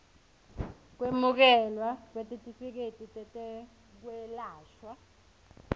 kwemukelwa kwetitifiketi tetekwelashwa